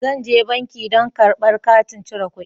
Zan je banki don karba katin cire kuɗi.